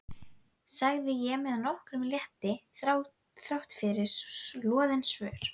sagði ég með nokkrum létti þráttfyrir loðin svör.